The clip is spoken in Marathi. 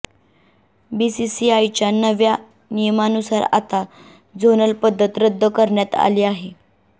बीसीसीआयच्या नव्या नियमानुसार आता झोनल पद्धत रद्द करण्यात आली आहे